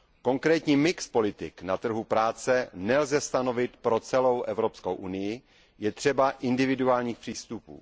Konkrétní mix politik na trhu práce nelze stanovit pro celou Evropskou unii, je třeba individuálních přístupů.